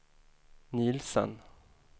Nielsen